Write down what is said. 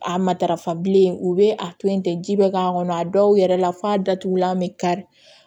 A matarafa bilen u bɛ a to yen ten ji bɛ k'a kɔnɔ a dɔw yɛrɛ la f'a datugulan bɛ kari